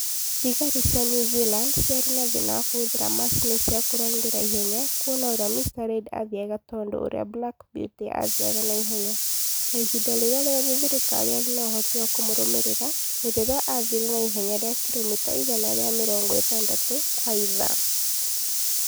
Thigari cia New Zealand ciarĩ na thĩna wa kũhũthĩra macini cia kũrangĩra ihenya kuona ũrĩa Mr Reid aathiaga tondũ wa ũrĩa Black Beauty aathiaga na ihenya, na ihinda rĩrĩa rĩothe thirikaari yarĩ na ũhoti wa kũmũrũmĩrĩra nĩ rĩrĩa aathire na ihenya rĩa kiromita igana rĩa mĩrongo ĩtandatũ kwa ithaa